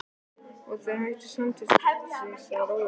Og þeir hætta samstundis að róa.